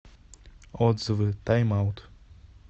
отзывы тайм аут